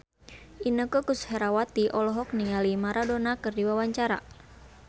Inneke Koesherawati olohok ningali Maradona keur diwawancara